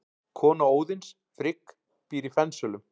Kona Óðins, Frigg, býr í Fensölum.